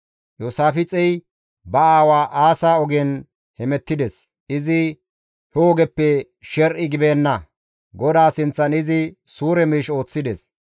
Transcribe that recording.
Iyoosaafixey ba aawa Aasa ogen hemettides; izi he ogeppe sher7i gibeenna; GODAA sinththan izi suure miish ooththides.